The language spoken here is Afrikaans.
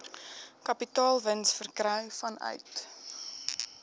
kapitaalwins verkry vanuit